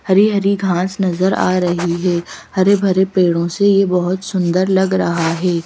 हरी-हरी घास नजर आ रही है हरे भरे पेड़ों से यह बहुत सुंदर लग रहा है।